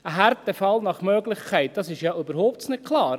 – «Ein Härtefall nach Möglichkeit», das ist ja überhaupt nicht klar.